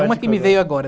Uma que me veio agora.